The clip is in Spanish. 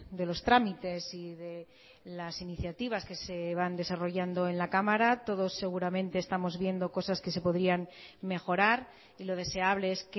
de los trámites y de las iniciativas que se van desarrollando en la cámara todos seguramente estamos viendo cosas que se podrían mejorar y lo deseable es